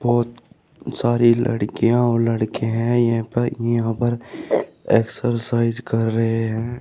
बहोत सारी लड़कियाँ और लड़के हैं यहां पर यहां पर एक्सरसाइज कर रहे हैं।